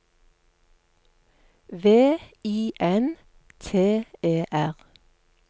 V I N T E R